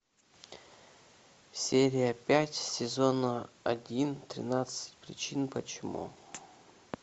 серия пять сезона один тринадцать причин почему